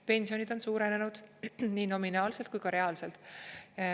Pensionid on suurenenud nii nominaalselt kui ka reaalselt.